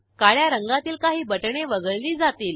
काळ्या रंगातील काही बटणे वगळली जातील